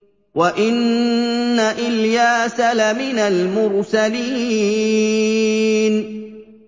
وَإِنَّ إِلْيَاسَ لَمِنَ الْمُرْسَلِينَ